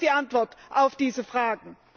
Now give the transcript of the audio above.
Das ist die Antwort auf diese Fragen!